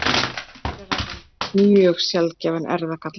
Um er að ræða mjög sjaldgæfan erfðagalla.